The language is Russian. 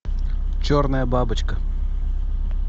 черная бабочка